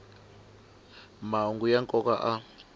mahungu ya nkoka a